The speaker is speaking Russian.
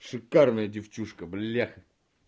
шикарная девчушка бляха